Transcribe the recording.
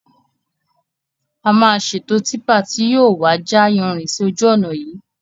A máa ṣètò típà tí yìí ó wà ja yanrìn sì ojú ọnà yìí